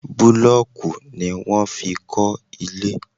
Búlọ̀kì ni wọ́n fi kọ́ ilé.